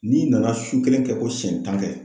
N'i nana su kelen kɛ ko siɲɛ tan kɛ